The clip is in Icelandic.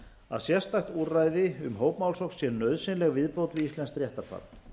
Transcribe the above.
að sérstakt úrræði um hópmálsókn sé nauðsynleg viðbót við íslenskt réttarfar